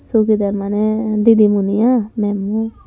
sugi der maney didimuni iy mam u.